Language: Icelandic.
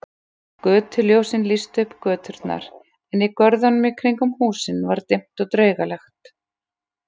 Götuljósin lýstu upp göturnar en í görðunum í kringum húsin var dimmt og draugalegt.